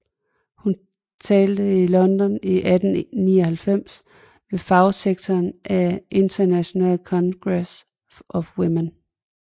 Hun talte i London i 1899 ved fagsektionen af International Congress of Women